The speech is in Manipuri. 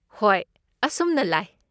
ꯍꯣꯏ, ꯑꯁꯨꯝꯅ ꯂꯥꯏ꯫